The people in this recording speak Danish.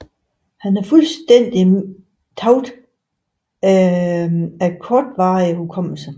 Han har fuldstændigt tab af kortvarig hukommelse